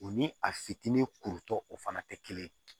O ni a fitinin kurutɔ o fana tɛ kelen ye